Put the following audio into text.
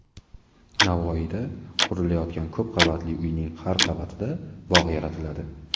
Navoiyda qurilayotgan ko‘p qavatli uyning har qavatida bog‘ yaratiladi.